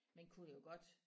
Man kunne jo godt